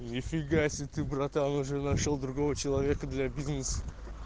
нифига себе ты братан уже нашёл другого человека для бизнеса